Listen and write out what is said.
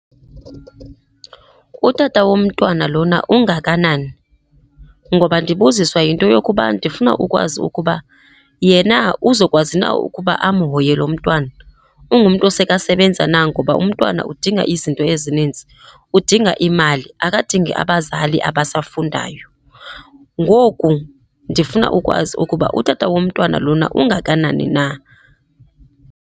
Utata womntwana lona ungakanani? Ngoba ndibuziswa yinto yokuba ndifuna ukwazi ukuba yena uzokwazi na ukuba amhoye lo mntwana. Ungumntu osekasebenza na ngoba umntwana udinga izinto ezininzi. Udinga imali, akadingi abazali abasafundayo. Ngoku ndifuna ukwazi ukuba utata womntwana lona ungakanani na.